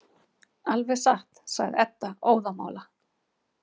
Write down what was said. Alveg satt, sagði Edda óðamála.